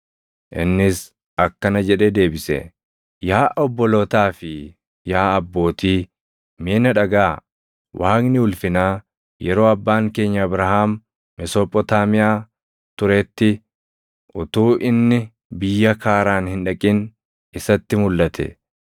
Innis akkana jedhee deebise; “Yaa obbolootaa fi yaa abbootii, mee na dhagaʼaa! Waaqni ulfinaa, yeroo abbaan keenya Abrahaam Mesophotaamiyaa turetti, utuu inni biyya Kaaraan hin dhaqin isatti mulʼate.